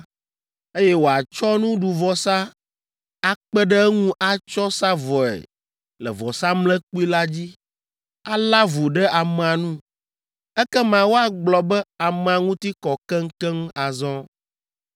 eye wòatsɔ nuɖuvɔsa akpe ɖe eŋu atsɔ sa vɔe le vɔsamlekpui la dzi, alé avu ɖe amea nu, ekema woagblɔ be amea ŋuti kɔ keŋkeŋ azɔ.